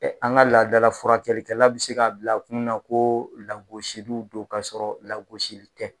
an ka laadala furakɛla bɛ se k'a bila kun na ko lagosiliw do ka sɔrɔ lagosi tɛ.